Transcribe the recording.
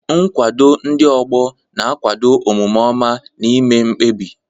Nkwado ndị ọgbọ na-akwado omume ọma na ime mkpebi.